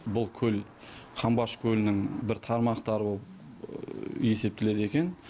бұл көл қамбаш көлінің бір тармақтары болып есептеледі екен